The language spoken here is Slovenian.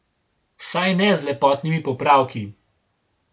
Vsaj ne z lepotnimi popravki.